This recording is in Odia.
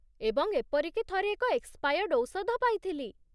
ଏବଂ ଏପରିକି ଥରେ ଏକ ଏକ୍ସପାୟର୍ଡ଼ ଔଷଧ ପାଇଥିଲି।